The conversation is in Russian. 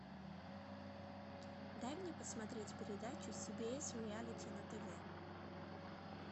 дай мне посмотреть передачу си би эс реалити на тв